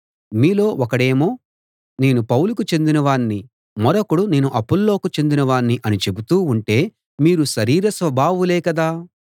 మీలో ఒకడేమో నేను పౌలుకు చెందినవాణ్ణి మరొకడు నేను అపొల్లోకు చెందిన వాణ్ణి అని చెబుతూ ఉంటే మీరు శరీర స్వభావులే కదా